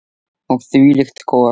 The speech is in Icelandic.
Og þvílíkt gos.